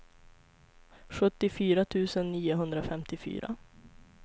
sjuttiofyra tusen niohundrafemtiofyra